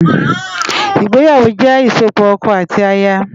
Igbéyáwó jè isópò òkò áti àyá